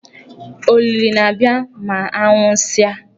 Ólílì na-abịa ma a nwụsịa.